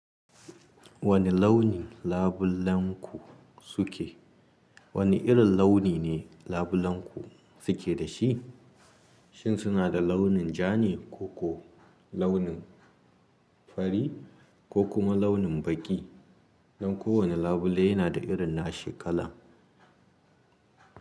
Wane launin labulenku suke? Wane irin launi ne labulenku suke da shi? Shin suna da launin ja ne, ko ko launin fari ko kuma launin baƙi? Don kowane labule yana da irin na shi ƙalar.